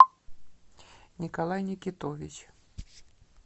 николай никитович